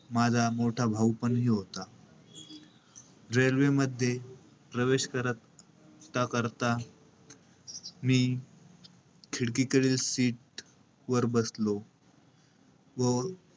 व माझा मोठा भाऊपण होता. railway मध्ये प्रवेश करत~ करता-करता मी खिडकीकडील seat वर बसलो. व,